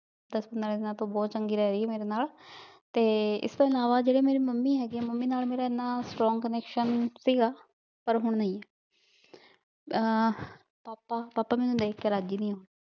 ਦਸ ਪੰਦਰਾਂ ਦਿਨਾਂ ਤੋਂ ਬੋਹਤ ਚੰਗੀ ਰਹ ਰਾਇ ਆ ਮੇਰੇ ਨਾਲ ਤੇ ਏਸ ਤੋਂ ਇਲਾਵਾ ਜਿਹੜੇ ਮੱਮੀ ਹੈਗੇ ਮੱਮੀ ਨਾਲ ਮੇਰਾ ਇੰਨਾ strong connection ਸੀਗਾ ਪਰ ਹੁਣ ਨਾਈ ਆ ਪਾਪਾ ਪਾਪਾ ਮੇਨੂ ਵੇਖ ਕੇ ਰਾਜ਼ੀ ਨਾਈ ਹੁਣ